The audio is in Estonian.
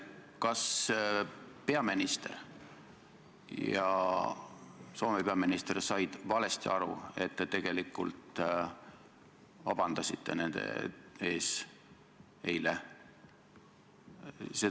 Kas meie peaminister ja Soome peaminister said valesti aru, et te tegelikult vabandasite nende ees?